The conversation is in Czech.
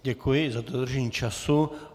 Děkuji i za dodržení času.